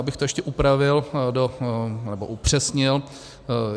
Abych to ještě upravil, nebo upřesnil.